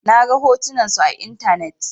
Na ga hotunan su a intanet.